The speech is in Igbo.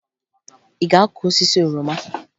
Ị ga-akụ osisi oroma?